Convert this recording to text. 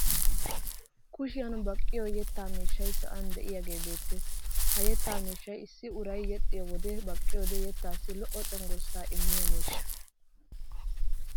Kushshiyan baqqiyo yettaa miishshay sa'an de'iyaagee beettes. Ha yettaa miishshay issi uray yexxiyo wodiyan baqqiyoode yettaasi lo'o cenggurssaa immiya miishsha.